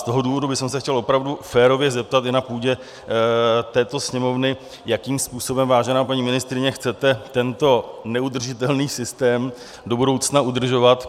Z toho důvodu bych se chtěl opravdu férově zeptat i na půdě této Sněmovny, jakým způsobem, vážená paní ministryně, chcete tento neudržitelný systém do budoucna udržovat.